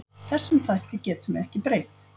Þessum þætti getum við ekki breytt.